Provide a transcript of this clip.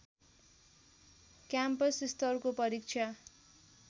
campus स्तरको परीक्षा